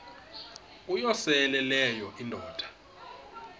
uyosele leyo indoda